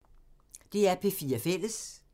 DR P4 Fælles